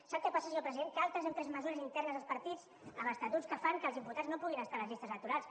sap què passa senyor president que altres hem pres mesures internes als partits amb estatuts que fan que els imputats no puguin estar a les llistes electorals